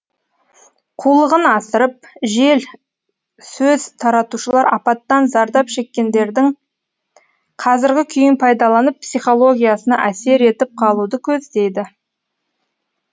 қулығын асырып жел сөз таратушылар апаттан зардап шеккендердің қазіргі күйін пайдаланып психологиясына әсер етіп қалуды көздейді